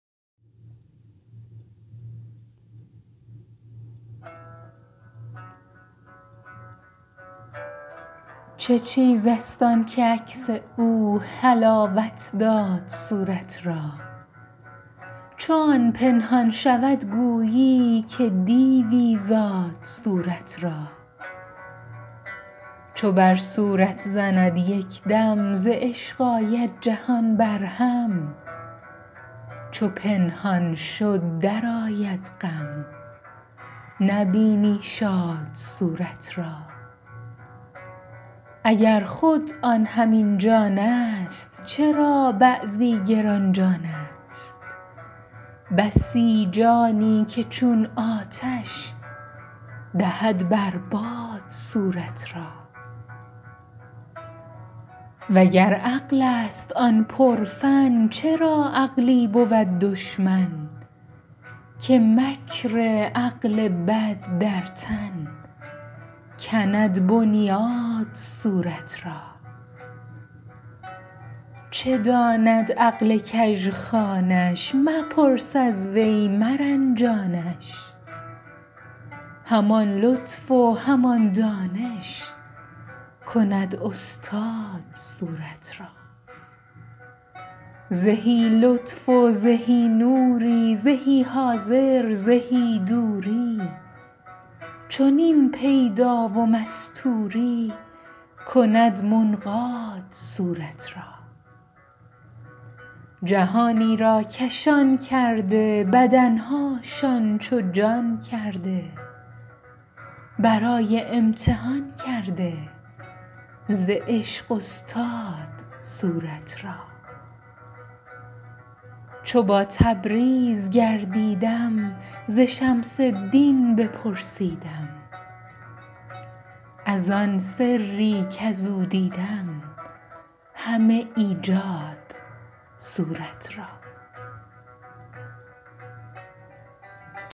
چه چیزست آنک عکس او حلاوت داد صورت را چو آن پنهان شود گویی که دیوی زاد صورت را چو بر صورت زند یک دم ز عشق آید جهان برهم چو پنهان شد درآید غم نبینی شاد صورت را اگر آن خود همین جانست چرا بعضی گران جانست بسی جانی که چون آتش دهد بر باد صورت را وگر عقلست آن پرفن چرا عقلی بود دشمن که مکر عقل بد در تن کند بنیاد صورت را چه داند عقل کژخوانش مپرس از وی مرنجانش همان لطف و همان دانش کند استاد صورت را زهی لطف و زهی نوری زهی حاضر زهی دوری چنین پیدا و مستوری کند منقاد صورت را جهانی را کشان کرده بدن هاشان چو جان کرده برای امتحان کرده ز عشق استاد صورت را چو با تبریز گردیدم ز شمس الدین بپرسیدم از آن سری کز او دیدم همه ایجاد صورت را